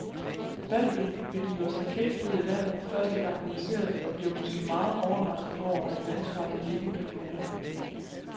Hvalpen begiver sig kækt ud i vandet, første gang den ser det, og bliver måske meget overrasket over, at vandspejlet ikke kan bære.